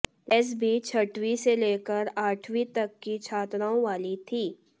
dress भी छठवीं से लेकर आठवीं तक की छात्राओं वाली थी